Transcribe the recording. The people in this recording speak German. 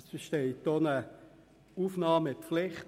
Es besteht auch eine Aufnahmepflicht: